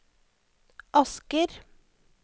Asker